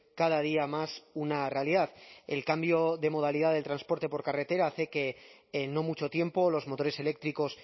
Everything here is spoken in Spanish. cada día más una realidad el cambio de modalidad del transporte por carretera hace que en no mucho tiempo los motores eléctricos